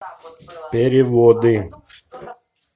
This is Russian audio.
переводы